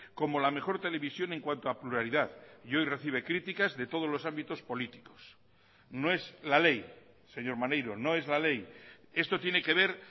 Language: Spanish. como la mejor televisión en cuanto a pluralidad y hoy recibe críticas de todos los ámbitos políticos no es la ley señor maneiro no es la ley esto tiene que ver